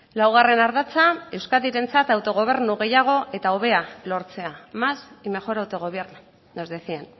laugarren ardatza euskadirentzat autogobernu gehiago eta hobea lortzea más y mejor autogobierno nos decían